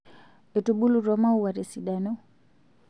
etubulutwa maua tesidano